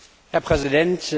Herr Präsident!